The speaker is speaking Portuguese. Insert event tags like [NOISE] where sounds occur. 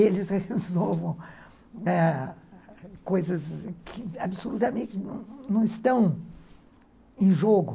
Eles resolvam [UNINTELLIGIBLE] coisas que absolutamente não estão em jogo.